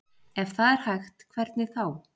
Ef það er hægt, hvernig þá?